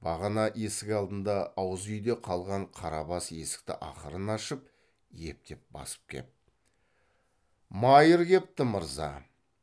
бағана есік алдында ауыз үйде қалған қарабас есікті ақырын ашып ептеп басып кеп майыр кепті мырза